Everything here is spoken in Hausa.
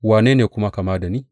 Wane ne kuwa kama da ni?